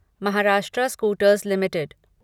Maharashtra scooters limited